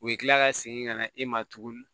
U bɛ kila ka segin ka na e ma tuguni